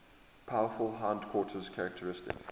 powerful hindquarters characteristic